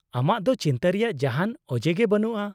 -ᱟᱢᱟᱜ ᱫᱚ ᱪᱤᱱᱛᱟᱹ ᱨᱮᱭᱟᱜ ᱡᱟᱦᱟᱱ ᱚᱡᱮ ᱜᱮ ᱵᱟᱹᱱᱩᱜᱼᱟ ᱾